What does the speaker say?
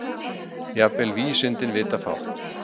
Jafnvel vísindin vita fátt.